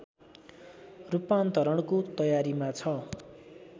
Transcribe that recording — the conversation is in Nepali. रूपान्तरणको तयारीमा छ